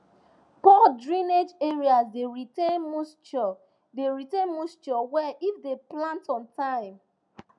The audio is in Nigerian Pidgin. poor drainage areas dey retain moisture dey retain moisture well if dem plant on time